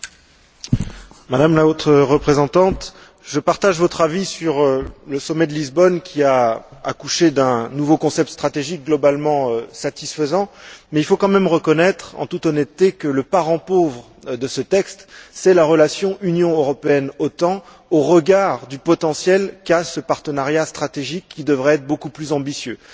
Madame la Présidente, Madame la Haute représentante, je partage votre avis sur le sommet de Lisbonne qui a accouché d'un nouveau concept stratégique globalement satisfaisant, mais il faut quand même reconnaître, en toute honnêteté, que le parent pauvre de ce texte, c'est la relation Union européenne OTAN, au regard du potentiel qu'a ce partenariat stratégique, qui devrait être beaucoup plus ambitieux.